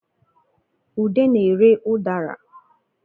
Ude na-ere ụdara